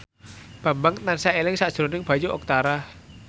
Bambang tansah eling sakjroning Bayu Octara